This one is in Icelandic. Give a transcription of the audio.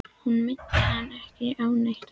Hún minnti hann ekki á neitt á